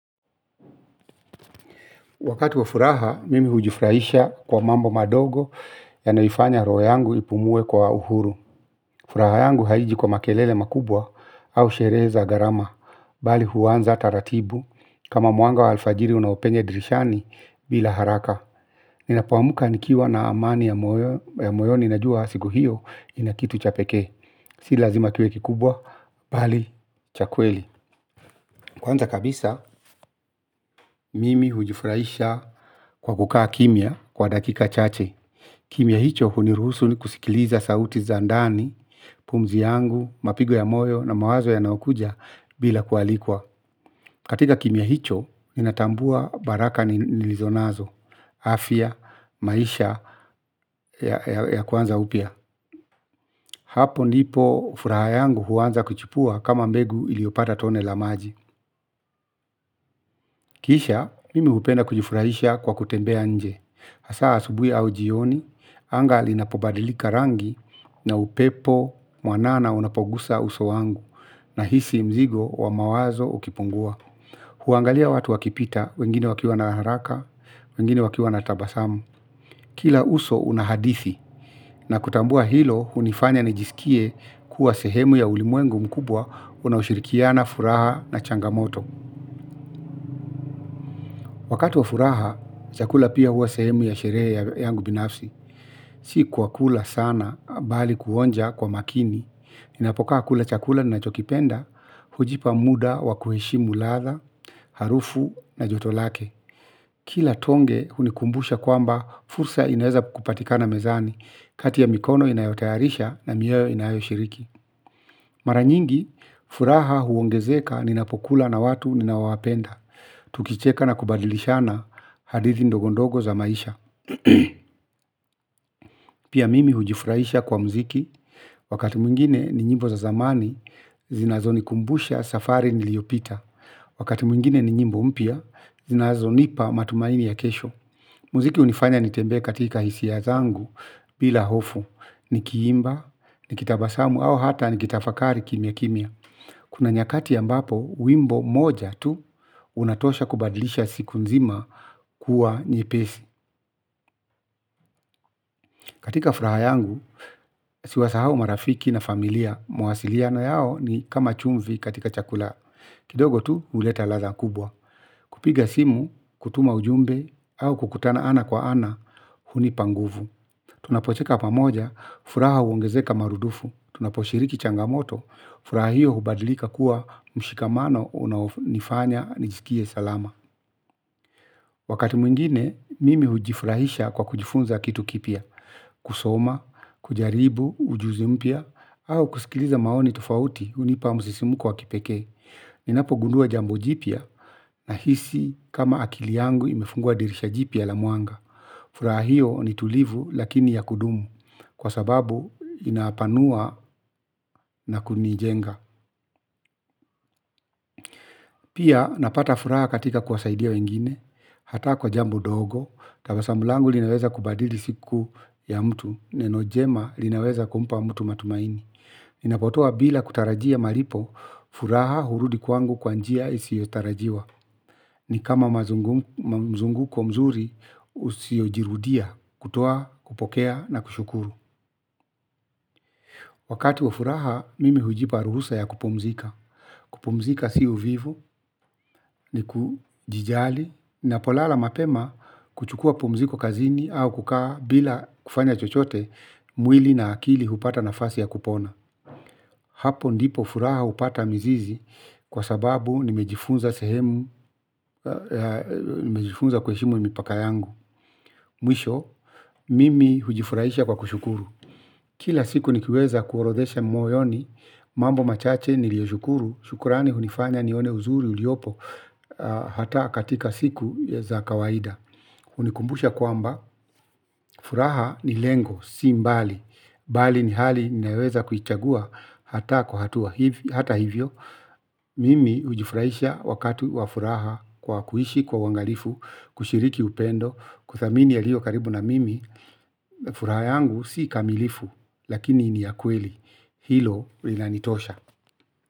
Wakati wa furaha, mimi hujifuraisha kwa mambo madogo ya naifanya roho yangu ipumue kwa uhuru. Furaha yangu haiji kwa makelele makubwa au sherehe za gharama. Bali huanza taratibu. Kama mwanga wa alfajiri unaopenyea dirishani bila haraka. Ninapoamka nikiwa na amani ya moyoni najua siku hio inakitu cha pekee. Si lazima kiwe kikubwa, bali chakweli. Kwanza kabisa mimi hujifurahisha kwa kukaa kimia kwa dakika chache. Kimia hicho huniruhusu ni kusikiliza sauti zandani, pumzi yangu, mapigo ya moyo na mawazo ya nayokuja bila kualikwa. Katika kimia hicho ninatambua baraka ni nilizonazo, afya, maisha ya kuanza upia. Hapo nipo furaha yangu huanza kuchipua kama mbegu iliyopata tone la maji. Kisha, mimi hupenda kujifurahisha kwa kutembea nje. Asaa asubui au jioni, anga li na pobadilika rangi na upepo mwanana unapogusa uso wangu na hisi mzigo wa mawazo ukipungua. Huangalia watu wakipita, wengine wakiwa na haraka, wengine wakiwa na tabasamu. Kila uso unahadithi na kutambua hilo unifanya nijisikie kuwa sehemu ya ulimwengu mkubwa unaoshirikia na furaha na changamoto. Wakati wa furaha, chakula pia huwa sehemu ya sherehe yangu binafsi. Sikwa kula sana bali kuonja kwa makini. Ninapokaa kula chakula nina chokipenda, hujipa muda wa kuheshimu latha, harufu na jotolake. Kila tonge unikumbusha kwamba fursa inaeza kupatika na mezani, kati ya mikono inayotayarisha na mioyo inayoshiriki. Maranyingi, furaha huongezeka ninapokula na watu ninawapenda. Tukicheka na kubadilishana hadithi ndogondogo za maisha. Pia mimi hujifurahisha kwa mziki, wakati mwingine ni nyimbo za zamani, zinazo nikumbusha safari niliopita. Wakati mwingine ni nyimbo mpia, zinazo nipa matumaini ya kesho. Muziki unifanya nitembee katika hisia zangu bila hofu, ni kiimba, ni kitabasamu au hata ni kitafakari kimia kimia. Kuna nyakati ambapo, wimbo moja tu unatosha kubadlisha siku nzima kuwa nyepesi. Katika furaha yangu, siwasahau marafiki na familia, mawasiliana yao ni kama chumvi katika chakula. Kidogo tu, uleta ladha kubwa. Kupiga simu, kutuma ujumbe au kukutana ana kwa ana, huni panguvu. Tunapocheka pamoja, furaha uongezeka marudufu, tunaposhiriki changamoto, furaha hiyo hubadlika kuwa mshikamano unaonifanya nijiskie salama. Wakati mwingine, mimi hujifurahisha kwa kujifunza kitu kipia, kusoma, kujaribu, ujuzimpya, au kusikiliza maoni tufauti unipa msisimu ko wa kipeke. Ninapo gundua jambo jipia na hisi kama akili yangu imefungua dirisha jipia la mwanga. Furaha hiyo ni tulivu lakini ya kudumu kwa sababu inapanua na kunijenga. Pia napata furaha katika kuwasaidia wengine hata kwa jambo ndogo. Tabasamulangu linaweza kubadili siku ya mtu. Nenojema linaweza kumpa mtu matumaini. Ninapotoa bila kutarajia maripo furaha hurudi kwangu kwanjia isi yotarajiwa nikama mzunguko mzuri usiojirudia kutoa kupokea na kushukuru wakati wa furaha mimi hujipa ruhusa ya kupumzika. Kupumzika si u vivu ni kujijali nina polala mapema kuchukua pumziko kazini au kukaa bila kufanya chochote mwili na akili hupata nafasi ya kupona. Hapo ndipo furaha hupata mizizi kwa sababu nimejifunza sehemu, nimejifunza kuhe shimu mipaka yangu. Mwisho, mimi hujifurahisha kwa kushukuru. Kila siku nikiweza kuorodhesha moyoni, mambo machache nilio shukuru, shukurani hunifanya nione uzuri uliopo hata katika siku za kawaida. Unikumbusha kwamba furaha ni lengo bali mbali ni hali ninayoweza kuichagua hata kwa hatua hiv hata hivyo mimi hujifurahisha wakati wa furaha kwa kuishi kwa uangalifu kushiriki upendo kuthamini aliyokaribu na mimi furaha yangu si kamilifu, lakini ni ya kweli. Hilo linanitosha.